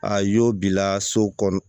A y'o bila so kɔnɔ